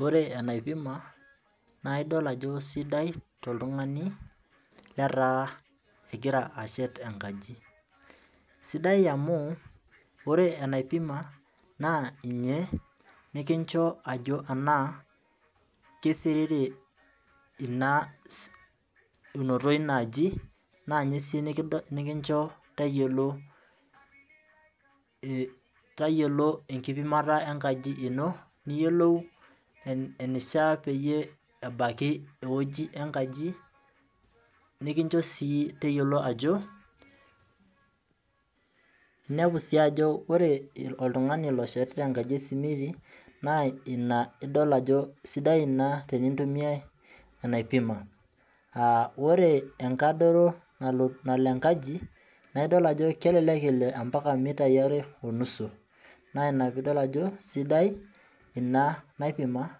Ore enaipima, na idol ajo sidai toltung'ani letaa egira ashet enkaji. Sidai amu, ore enaipima naa ninye kincho ajo anaa kisiriri ina unoto inaaji, naa nye si nikincho tayiolo tayiolo enkipimata enkaji ino, niyiolou enishaa peyie ebaiki ewoji enkaji, nikincho si teyiolo ajo, inepu si ajo ore oltung'ani loshetita enkaji esimiti, naa ina idol ajo sidai ina tenintumiai enaipima. Ah ore enkadore nalo enkaji, na idol ajo kelelek elo mpaka mitai are onusu. Na ina pidol ajo sidai ina naipima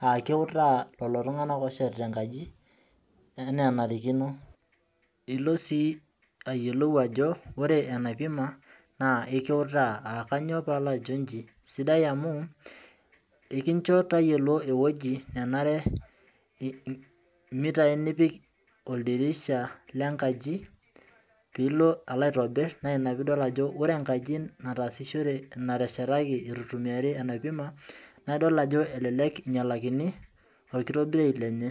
ah keutaa lelo tung'anak oshetita enkaji, enaa enarikino ilo si ayiolou ajo, ore enaipima naa ekiutaa. Ah kanyioo pajo iji, sidai amu ekincho tayiolo ewoji nenare mitai nipik oldirisha lenkaji pilo alo aitobir, naa ina pidol ajo wore enkaji nataasishore nateshetaki itu itumiari enaipima, na idol ajo elelek inyalakini, orkitobirunyei lenye.